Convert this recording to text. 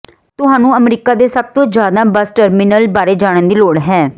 ਤੁਹਾਨੂੰ ਅਮਰੀਕਾ ਦੇ ਸਭ ਤੋਂ ਜ਼ਿਆਦਾ ਬੱਸ ਟਰਮੀਨਲ ਬਾਰੇ ਜਾਣਨ ਦੀ ਲੋੜ ਹੈ